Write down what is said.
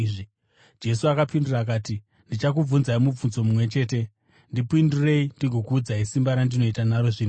Jesu akapindura akati, “Ndichakubvunzai mubvunzo mumwe chete. Ndipindurei, ndigokuudzai simba randinoita naro zvinhu izvi.